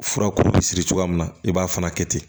Fura ko bɛ siri cogoya min na i b'a fana kɛ ten